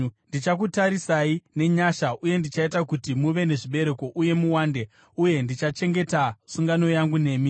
“ ‘Ndichakutarisai nenyasha uye ndichaita kuti muve nezvibereko uye muwande, uye ndichachengeta sungano yangu nemi.